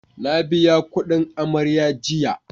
Na biya kudin amarya jiya